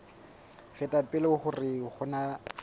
feta pele hore ho na